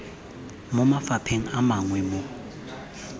mo mafapheng a mangwe mo